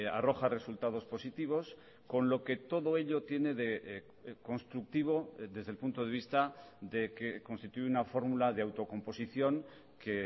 arroja resultados positivos con lo que todo ello tiene de constructivo desde el punto de vista de que constituye una fórmula de autocomposición que